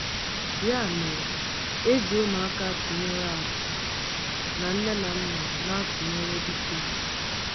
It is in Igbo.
Ya mere, eji ụmụaka tụnyere àkú, na nne na nna na-atụnyere dike.